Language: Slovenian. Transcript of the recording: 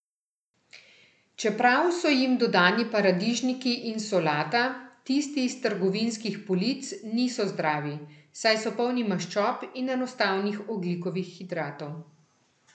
Čeprav so jim dodani paradižniki in solata, tisti s trgovinskih polic niso zdravi, saj so polni maščob in enostavnih ogljikovih hidratov.